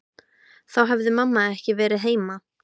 Þá hefði mamma ekki verið heima.